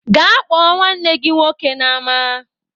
Gaa kpọ nwanne gị nwoke n'ama!